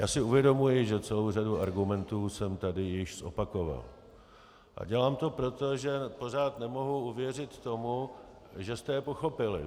Já si uvědomuji, že celou řadu argumentů jsem tady již zopakoval, a dělám to proto, že pořád nemohu uvěřit tomu, že jste je pochopili.